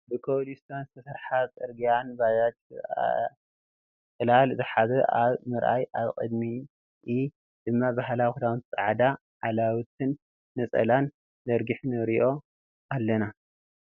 ብኮፕሊስቶን ዝተሰረሓ ፀርግያን ባጃጅን ሰበኣይ ፅላል ዝሓዘ ኣብ ምርኣይን ኣብ ቅዲምኢ ድማ ባህላዊ ክዳውንትታን ፃዕዳ ዓላዊትን ነፀላን ዘርጊሑ ንርእዮ ኣለና ።